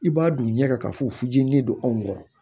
I b'a don ɲɛ kan ka fɔ ji ne don anw kɔrɔ